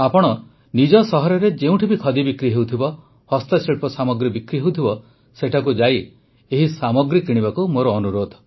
ଆପଣ ନିଜ ସହରରେ ଯେଉଁଠି ବି ଖଦି ବିକ୍ରି ହେଉଥିବ ହସ୍ତଶିଳ୍ପ ସାମଗ୍ରୀ ବିକ୍ରି ହେଉଥିବ ସେଠାକୁ ଯାଇ ଏହି ସାମଗ୍ରୀ କିଣିବାକୁ ମୋର ଅନୁରୋଧ